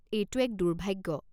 এইটো এক দুৰ্ভাগ্য।